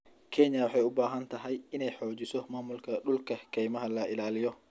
Kenya waxa ay u baahan tahay in ay xoojiso maamulka dhulka keymaha la ilaaliyo.